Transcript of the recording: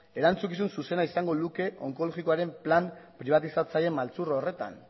erantzukizun zuzena izango luke onkologikoaren plan pribatizatzaile maltzur horretan